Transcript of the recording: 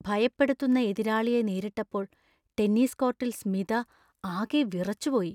ഭയപ്പെടുത്തുന്ന എതിരാളിയെ നേരിട്ടപ്പോൾ ടെന്നീസ് കോർട്ടിൽ സ്മിത ആകെ വിറച്ചു പോയി .